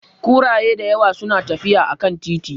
Kuraye da yawa suna tafiya a kan titi.